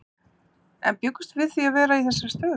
En bjuggumst við við því að vera í þessari stöðu?